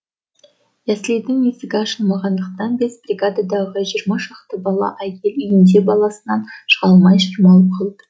яслидің есігі ашылмағандықтан бес бригададағы жиырма шақты бала әйел үйінде баласынан шыға алмай шырмалып қалыпты